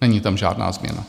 Není tam žádná změna.